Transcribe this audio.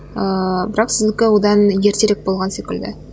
ыыы бірақ сіздікі одан ертерек болған секілді